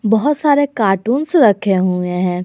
बहोत सारे कार्टून्स रखे हुए हैं।